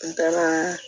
N taara